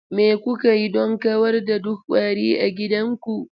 Me kuka yi don kawar da duk ƙwari a gidanku?